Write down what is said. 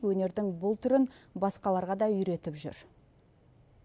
өнердің бұл түрін басқаларға да үйретіп жүр